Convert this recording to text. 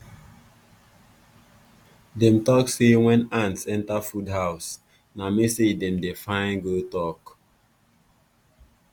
dem talk say when ants enter food house na message dem dey find to go talk.